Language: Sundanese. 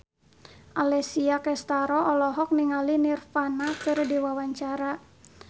Alessia Cestaro olohok ningali Nirvana keur diwawancara